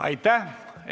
Aitäh!